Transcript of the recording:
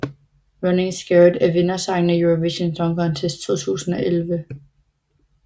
Running Scared er vindersangen af Eurovision Song Contest 2011